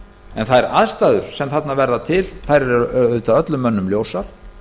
en þær aðstæður sem þarna verða til eru öllum mönnum ljósar